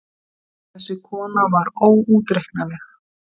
Þessi kona var óútreiknanleg.